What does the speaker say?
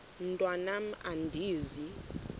mntwan am andizi